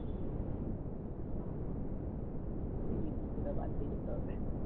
এই জুতোটা বাদ দিয়ে যেতে হবে